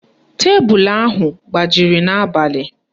Tebulu ahụ gbajiri n'abalị